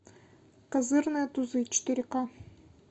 козырные тузы четыре ка